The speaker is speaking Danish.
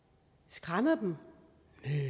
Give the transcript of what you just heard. skræmmer det dem